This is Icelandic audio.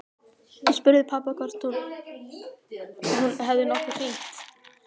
Ég spurði pabba hvort hún hefði nokkuð hringt.